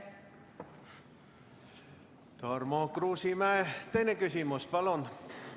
Tarmo Kruusimäe, teine küsimus, palun!